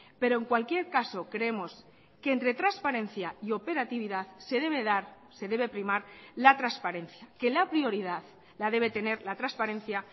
pero en cualquier caso creemos que entre transparencia y operatividad se debe dar se debe primar la transparencia que la prioridad la debe tener la transparencia